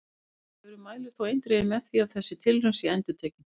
Vísindavefurinn mælir þó eindregið gegn því að þessi tilraun sé endurtekin!